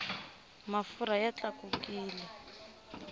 mafurha ya tlakukile